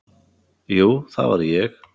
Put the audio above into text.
Jú, það var ég.